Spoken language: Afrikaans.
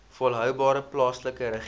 volhoubare plaaslike regering